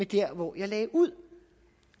der hvor jeg lagde ud